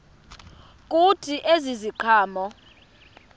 kuthi ezi ziqhamo